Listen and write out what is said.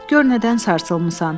Gör nədən sarsılmısan?